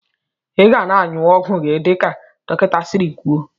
Iga na anyụ ọgwụ gi dika dọkinta siri kwụọ.